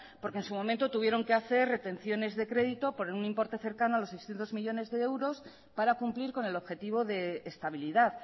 porque en su momento tuvieron que hacer retenciones de crédito por un importe cercano a los seiscientos millónes de euros para cumplir con el objetivo de estabilidad